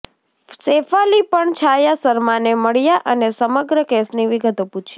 શેફાલી પણ છાયા શર્માને મળ્યા અને સમગ્ર કેસની વિગતો પૂછી